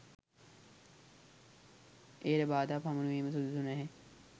එයට බාධා පමුණුවීම සුදුසු නැහැ